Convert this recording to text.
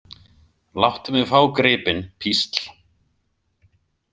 Láttu mig fá gripinn, písl.